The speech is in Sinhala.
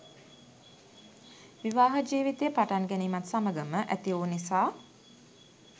විවාහ ජීවිතය පටන්ගැනීමත් සමඟම ඇතිවූ නිසා